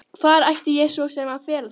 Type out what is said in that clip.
Hvar ætti ég svo sem að fela það?